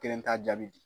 Kelen t'a jaabi di